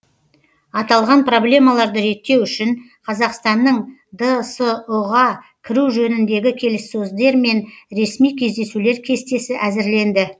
аталған проблемаларды реттеу үшін қазақстанның дсұ ға кіру жөніндегі келіссөздер мен ресми кездесулер кестесі әзірленді